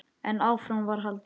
En áfram var haldið.